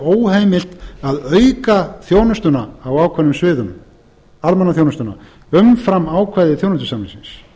óheimilt að auka þjónustuna á ákveðnum sviðum almannaþjónustuna umfram ákvæði þjónustusamningsins